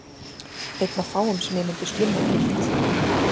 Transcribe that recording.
Einn af fáum sem ég myndi slumma frítt.